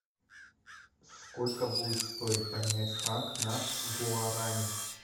сколько будет стоить поменять франк на гуарани